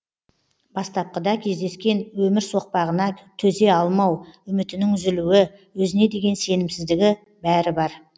бастапқыда кездескен өмір соқпағына төзе алмау үмітінің үзілуі өзіне деген сенімсіздігі бәрі бар